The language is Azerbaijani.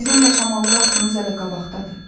Sizin yaşamalı vaxtınız hələ qabaqdadır.